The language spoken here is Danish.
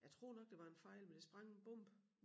Jeg tror nok det var en fejl men der sprang en bombe